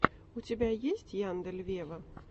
у тебя есть яндель вево